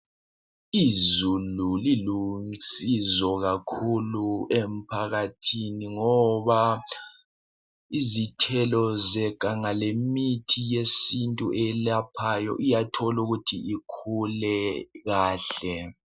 Izulu liwusizo kakhulu emphakathin ngoba izithelo zeganga lemithi yesintu eyelaphayo iyakhona ukuthi ikhule kahle